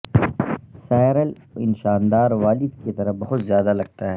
Cyril ان شاندار والد کی طرح بہت زیادہ لگتا ہے